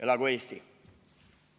Elagu Eesti!